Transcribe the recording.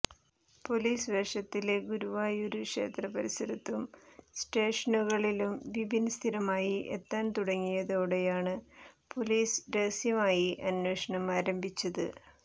police വേഷത്തില് ഗുരുവായൂര് ക്ഷേത്ര പരിസരത്തും സ്റ്റേഷനുകളിലും വിപിൻ സ്ഥിരമായി എത്താൻ തുടങ്ങിയതോടെയാണ്പൊലീസ് രഹസ്യമായി അന്വേഷണമാരംഭിച്ചത്